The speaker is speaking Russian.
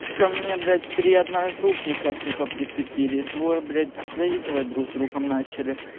ко мне блять три одногруппника сука прицепились двое блять заигрывают друг с другом начал